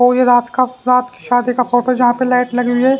और ये रात का रात की शादी का फोटो जहां पे लाइट लगी हुई है।